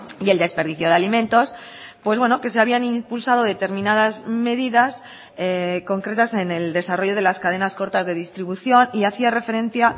y el desperdicio de alimentos pues bueno que se habían impulsado determinadas medidas concretas en el desarrollo de las cadenas cortas de distribución y hacía referencia